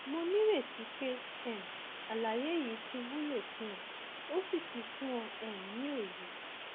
mo nírètí pé um àlàyé yìí ti wúlò fún ọ ó sì ti fún ọ um ní òye